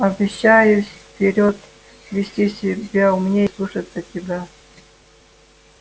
обещаюсь вперёд вести себя умнее и слушаться тебя